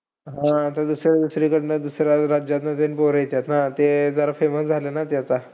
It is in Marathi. हम्म आता दुसरं दुसरीकडनं, दुसऱ्या राज्यातून जे पोरं येतात ना. ते अह जरा famous झाले न आता.